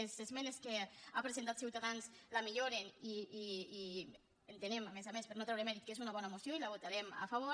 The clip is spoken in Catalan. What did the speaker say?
les esmenes que ha presentat ciutadans la milloren i entenem a més a més per no treure hi mèrit que és una bona moció i hi votarem a favor